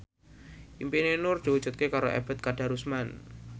impine Nur diwujudke karo Ebet Kadarusman